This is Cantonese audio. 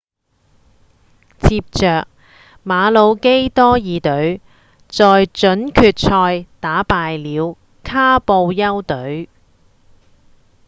接著馬魯基多爾隊在準決賽打敗了卡布丘隊